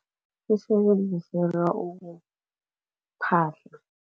Isebenziselwa ukuphahla.